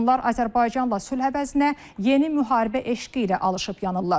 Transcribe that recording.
Onlar Azərbaycanla sülh əvəzinə yeni müharibə eşqi ilə alışıb yanırlar.